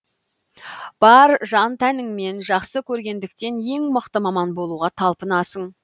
бар жан тәніңмен жақсы көргендіктен ең мықты маман болуға талпынасың